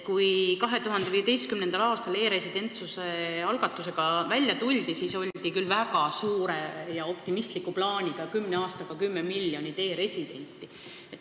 Kui 2015. aastal e-residentsuse algatusega välja tuldi, siis oldi küll väga suure ja optimistliku plaaniga, et kümne aastaga 10 miljonit e-residenti.